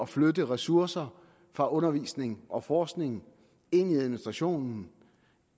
flytte ressourcer fra undervisning og forskning ind i administrationen